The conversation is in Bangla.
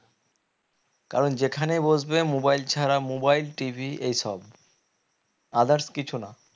কারণ যেখানে বসবে mobile ছাড়া mobile TV এসব others কিছু না